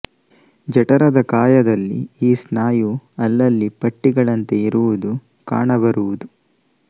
ಜಠರದ ಕಾಯದಲ್ಲಿ ಈ ಸ್ನಾಯು ಅಲ್ಲಲ್ಲಿ ಪಟ್ಟಿಗಳಂತೆ ಇರುವುದು ಕಾಣಬರುವುದು